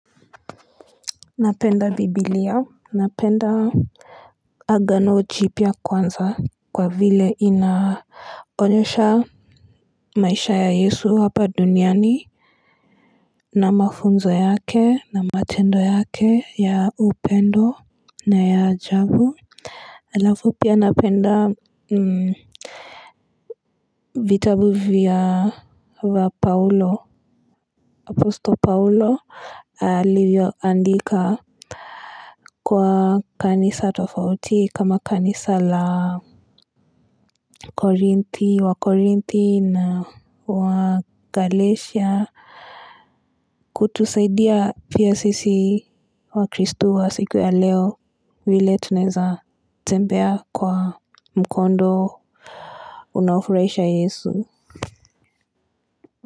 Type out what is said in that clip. Napenda biblia Napenda agano jiypia kwanza kwa vile inaonyesha maisha ya yesu hapa duniani na mafunzo yake na matendo yake ya upendo na ya ajabu Alafu pia napenda vitabu wa paulo aposto paulo Alivyoandika Kwa kanisa tofauti kama kanisa la korinthi wakorinthi na wa galesha kutusaidia pia sisi wakristu wa siku ya leo vile tunaeza tembea kwa mkondo unaofuraisha yesu.